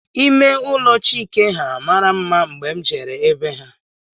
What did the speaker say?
Ime ụlọ Chike ha mara mma mgbe m jere be ha